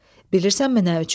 Bilirsənmi nə üçün?